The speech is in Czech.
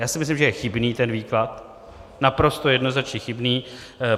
Já si myslím, že je chybný ten výklad, naprosto jednoznačně chybný.